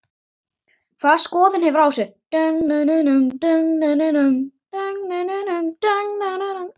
Hvaða skoðun hefurðu á þessu?